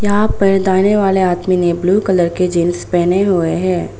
यहां पर दाहिने वाले आदमी ने ब्लू कलर की जींस पहने हुए है।